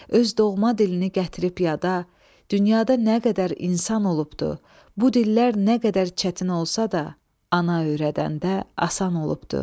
Öz doğma dilini gətirib yada, dünyada nə qədər insan olubdu, bu dillər nə qədər çətin olsa da, ana öyrədəndə asan olubdu.